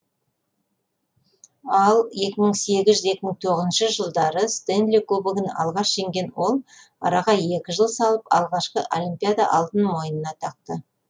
ал екі мың сегіз екі мың тоғызыншы жылдары стэнли кубогын алғаш жеңген ол араға екі жыл салып алғашқы олимпиада алтынын мойнына тақты